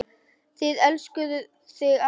Það elskuðu þig allir.